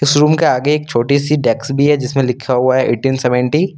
इस रूम के आगे एक छोटी सी डेस्क भी है जिसमें लिखा हुआ है ऐंततीन सेवंती ।